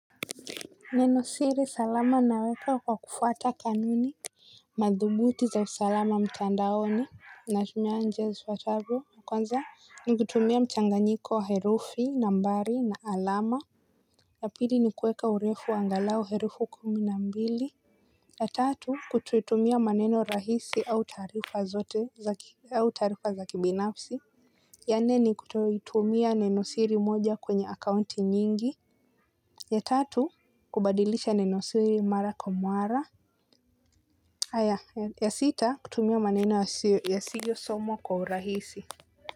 Neno siri salama naweka kwa kufuata kanuni madhubuti za usalama mtandaoni. Natumia njia zifuatavyo kwanza nikutumia mchanganyiko wa herufi nambari na alama ya pili nikuweka urefu wa angalau herufi kumi na mbili. Ya tatu kutumia maneno rahisi au taarifa zote za au taarifa za kibinafsi. Ya nne ni kutotumia nenosiri moja kwenye akaunti nyingi. Ya tatu kubadilisha nenosiri mara kwa mara. Haya ya sita kutumia maneno yasiyo somwa kwa urahisi.